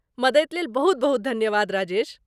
मदति लेल बहुत बहुत धन्यवाद राजेश।